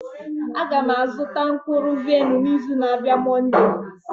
Aga m azụta mkpụrụ vaịn n'izu na-abịa Monday.